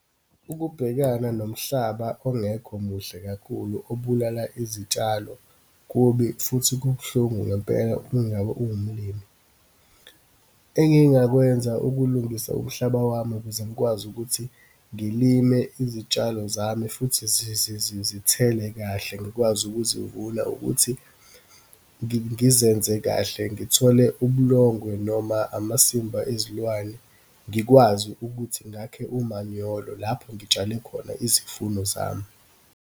Ukubhekana nomhlaba ongekho muhle kakhulu, obulala izitshalo kubi futhi kubuhlungu ngempela ukungabe ungumlimi. Engingakwenza ukulungisa umhlaba wami ukuze ngikwazi ukuthi ngilime izitshalo zami futhi zithele kahle, ngikwazi ukuzivuna ukuthi, ngizenze kahle, ngithole ubulongwe noma amasimba ezilwane, ngikwazi ukuthi ngakhe umanyolo lapho ngitshale khona izifundo zami.